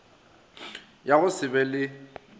ya go se be le